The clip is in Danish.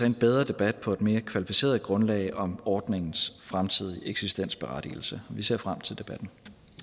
en bedre debat på et mere kvalificeret grundlag om ordningens fremtidige eksistensberettigelse vi ser frem til debatten